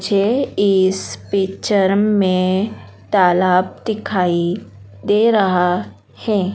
झे इस पिक्चर में तालाब दिखाई दे रहा है।